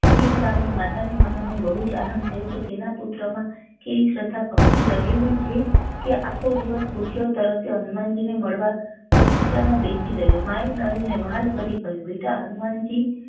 એ સાંભળી માતા ને મનોમન બહુ જ આનંદ થયો કે તેના પુત્ર માં કેવી શ્રધ ભક્તિ રહેઈ છે કે આખો દિવસ ભૂખ્યો તરસ્યો હનુમાનજી ને મળવા બગીચા માં બેસી રહ્યો માં એ નરેન ને વ્હાલ કરી કહ્યું બેટા હનુમાનજી